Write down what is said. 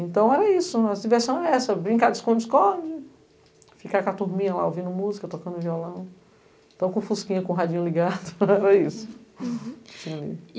Então era isso, a diversão era essa, brincar de esconde-esconde, ficar com a turminha lá ouvindo música, tocando violão, então com o fusquinha, com o radinho ligado, era isso.